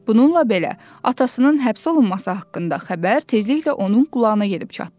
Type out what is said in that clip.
Bununla belə, atasının həbs olunması haqqında xəbər tezliklə onun qulağına gedib çatdı.